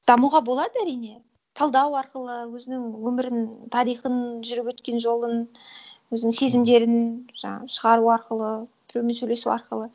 дамуға болады әрине талдау арқылы өзінің өмірін тарихын жүріп өткен жолын өзінің сезімдерін жаңағы шығару арқылы біреумен сөйлесу арқылы